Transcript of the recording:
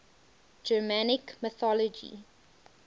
germanic mythology